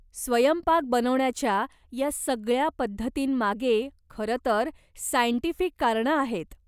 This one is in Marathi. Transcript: स्वयंपाक बनवण्याच्या या सगळ्या पद्धतींमागे खरंतर सायंटिफिक कारणं आहेत.